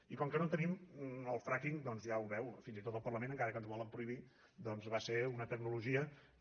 i com que no en tenim el fracking doncs ja ho veu fins i tot al parlament encara que ens ho volen prohibir va ser una tecnologia que